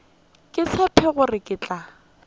ke tshepe gore ke tla